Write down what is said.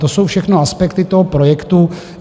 To jsou všechno aspekty toho projektu.